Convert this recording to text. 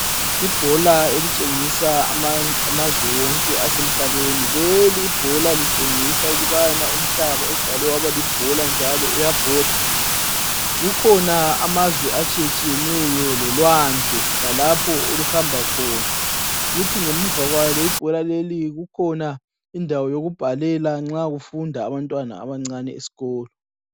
Ibhola elitshengisa amazwe wonke asemhlabeni. Lelibhola litshengisa ukubana umhlaba udalwe waba libhola njalo uyabhoda. Kukhona amazwe atshiyetshiyeneyo lolwandle lalapho oluhamba khona, kuthi ngemuva kwalo ibhola leli kukhona indawo yokubhalela nxa kufunda abantwana abancane esikolo